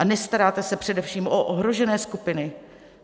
A nestaráte se především o ohrožené skupiny.